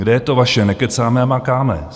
Kde je to vaše nekecáme a makáme?